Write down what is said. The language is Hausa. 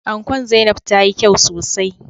Ankon Zainabs tayi kyau sosai.